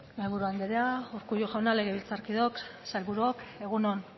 mahaiburu andrea urkullu jauna legebiltzarkideok sailburuok egun on